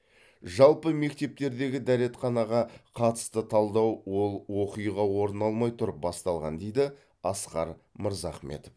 жалпы мектептердегі дәретханаға қатысты талдау ол оқиға орын алмай тұрып басталған дейді асқар мырзахметов